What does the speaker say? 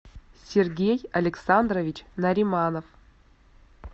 сергей александрович нариманов